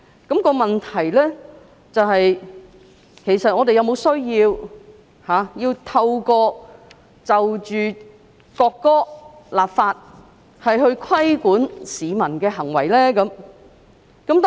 但問題是，我們是否有需要就國歌立法，以規管市民的行為呢？